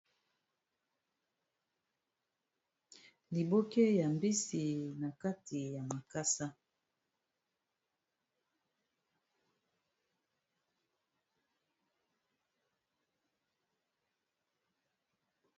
liboke ya mbisi na kati ya makasa